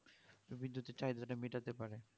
বিদ্যুতের চাহিদাটা মিটাতে পারে